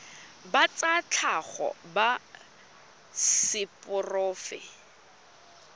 ba tsa tlhago ba seporofe